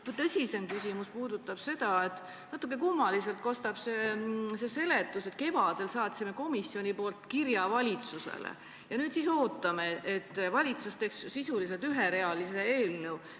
Aga mu tõsisem küsimus puudutab seda, et natukene kummaliselt kõlab see seletus, et kevadel saatsime komisjoni nimel kirja valitsusele ja nüüd ootame, et valitsus teeks sisuliselt üherealise eelnõu.